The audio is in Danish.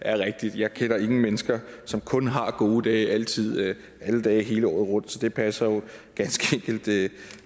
er rigtigt jeg kender ingen mennesker som kun har gode dage altid alle dage hele året rundt så det passer jo